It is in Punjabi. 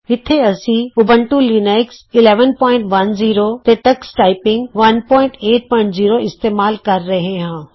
ਇੱਥੇ ਅਸੀਂ ਊਬੰਤੂ ਲੀਨਕਸ 1110 ਤੇ ਟਕਸ ਟਾਈਪਿੰਗ 180 ਇਸਤੇਮਾਲ ਕਰ ਰਹੇ ਹਾਂ